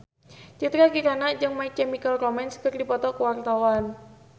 Citra Kirana jeung My Chemical Romance keur dipoto ku wartawan